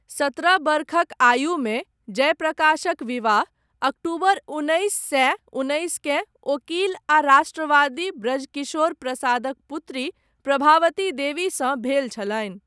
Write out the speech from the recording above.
सतरह वर्षक आयुमे, जयप्रकाशक विवाह, अक्टूबर उन्नैस सए उन्नैसकेँ, ओकील आ राष्ट्रवादी ब्रजकिशोर प्रसादक पुत्री, प्रभावती देवीसँ भेल छलनि।